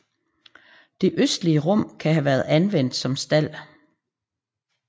Det østligste rum kan have været anvendt som stald